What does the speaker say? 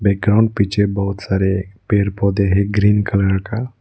ground पीछे बहोत सारे पेड़ पौधे हैं ग्रीन कलर का --